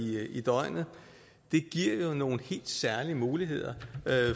døgnet det giver jo nogle helt særlige muligheder